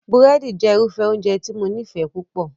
Búrẹ́dì jẹ́ irúfẹ́ oúnjẹ tí mo nífẹ̀ẹ́ púpọ̀